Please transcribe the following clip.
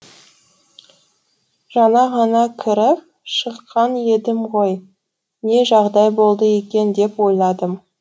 жаңа ғана кіріп шыққан едім ғой не жағдай болды екен деп ойладым